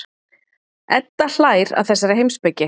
Edda hlær að þessari heimspeki.